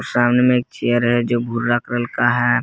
सामने मे एक चेयर है जो भूरा कलर का है।